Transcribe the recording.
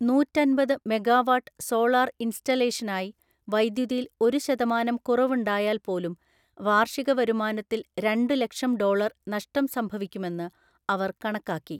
നൂറ്റന്‍പത് megawatt solar ഇൻസ്റ്റാളേഷനായി വൈദ്യുതിയിൽ ഒരു ശതമാനം കുറവുണ്ടായാൽ പോലും, വാർഷിക വരുമാനത്തിൽ രണ്ടു ലക്ഷം ഡോളര്‍ നഷ്ടം സംഭവിക്കുമെന്ന് അവർ കണക്കാക്കി.